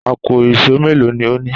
Àpò ìṣó mélòó ni o ní?